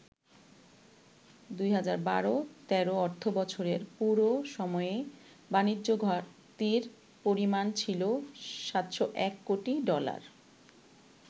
২০১২-১৩ অর্থবছরের পুরো সময়ে বাণিজ্য ঘাটতির পরিমাণ ছিল ৭০১ কোটি ডলার।